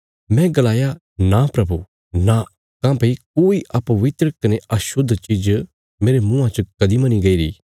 मैं गलाया नां प्रभु नां काँह्भई कोई अपवित्र कने अशुद्ध चीज़ मेरे मुँआं च कदीं मनी गईरी